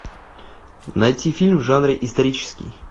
найти фильм в жанре исторический